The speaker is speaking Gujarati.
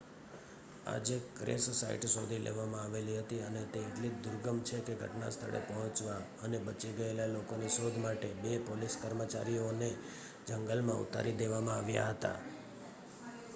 આજે ક્રેશ સાઇટ શોધી લેવામાં આવેલી હતી અને તે એટલી દુર્ગમ છેકે ઘટનાસ્થળે પહોંચવા અને બચી ગયેલા લોકોની શોધ માટે બે પોલીસ કર્મચારીઓને જંગલમાં ઉતારી દેવામાં આવ્યા હતા